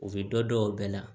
U bɛ dɔ dɔn o bɛɛ la